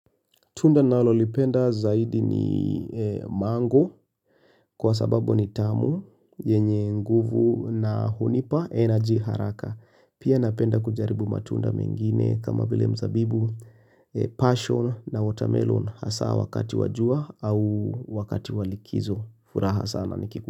Tunda nalo lipenda zaidi ni eeee mango kwa sababu ni tamu, yenye nguvu na hunipa energy haraka. Pia napenda kujaribu matunda mengine kama vile mzabibu, passion na watermelon hasaa wakati wa jua au wakati wa likizo. Furaha sana nikiku.